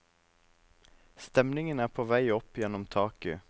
Stemningen er på vei opp gjennom taket.